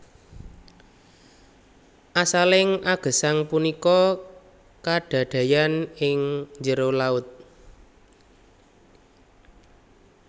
Asaling agesang punika kadadeyan an ing njèro laut